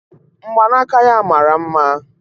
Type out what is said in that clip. Mgbanaka ya mara mma